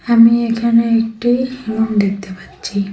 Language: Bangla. আমি এখানে একটি রুম দেখতে পাচ্ছি।